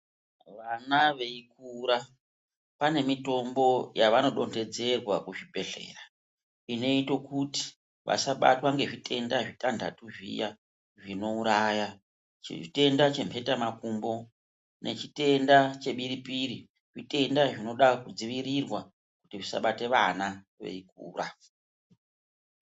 Vana veikura pane mitombo yavanodonhedzerwa kuzvibhedhleya. Inoita kuti vasabatwa ngezvitenda zvitanhatu zviya zvinouraya. Chitenda chemhetamakumbo nechitenda chebiripiri zvitenda zvinoda kudzivirirwa kuti zvisabate vana veikura.